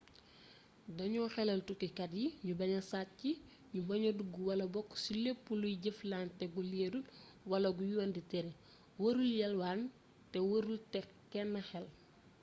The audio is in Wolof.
dañu xelal tukkikat yi ñu baña sàcc ñu baña dugg wala bokk ci lépp luy jëflante gu leerul wala gu yoon di tere warul yalwaan te warul teg kenn xel